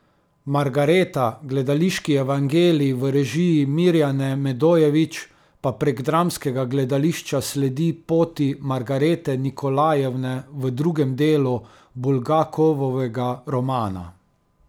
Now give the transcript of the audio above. Margareta, gledališki evangelij v režiji Mirjane Medojević, pa prek dramskega gledališča sledi poti Margarete Nikolajevne v drugem delu Bulgakovovega romana.